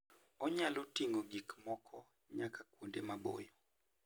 Onyalo ting'o gik moko nyaka kuonde maboyo.